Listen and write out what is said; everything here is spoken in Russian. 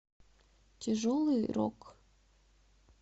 тяжелый рок